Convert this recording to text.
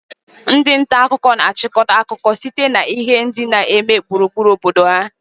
Ndị nta akụkọ na-achịkọta akụkọ sitere na ihe ndị na-eme gburugburu obodo ha